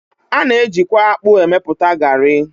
A na-eji kwa akpụ emepụta garị.